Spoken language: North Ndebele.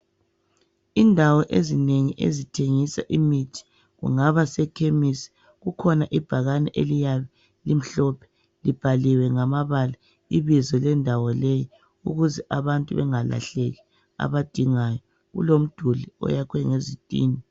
Indawo ezinengi ezithengisa imithikungaba sekhemisi kukhona ibhakani eliya limhlophe libhaliwe ngamabala ibizo lendawo leyi ukuze abantu bengalahleki abadingayo. Kulomduli owakhiwe ngezitina.